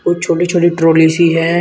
वो छोटी छोटी ट्रॉली सी है।